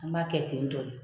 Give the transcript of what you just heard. An b'a kɛ ten tɔ de.